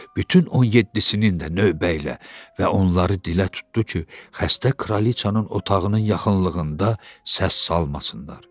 Bütün 17-sinin də növbə ilə və onları dilə tutdu ki, xəstə kralçanın otağının yaxınlığında səs salmasınlar.